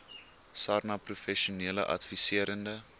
sarnap professionele adviserende